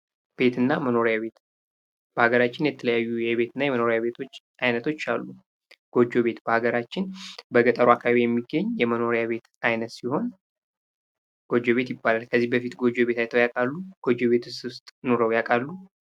ቤትና መኖሪያ ቤት በሀገራችን የተለያዩ ቤትና የመኖሪያ ቤት ዓይነቶች አሉ። ጎጆ ቤት በሀገራችን በገጠሩ አካባቢ የሚገኝ የመኖሪያ ቤት አይነት ሲሆን ጎጆ ቤት ይባላል። ከዚህ በፊት ጎጆ ቤት አይተው ያውቃሉ? ጎጆ ቤት ውስጥስ ኑረው ያውቃሉ?